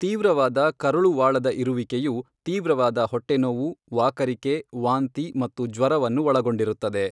ತೀವ್ರವಾದ ಕರುಳುವಾಳದ ಇರುವಿಕೆಯು ತೀವ್ರವಾದ ಹೊಟ್ಟೆ ನೋವು, ವಾಕರಿಕೆ, ವಾಂತಿ ಮತ್ತು ಜ್ವರವನ್ನು ಒಳಗೊಂಡಿರುತ್ತದೆ.